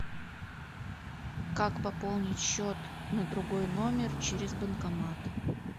как пополнить счет на другой номер через банкомат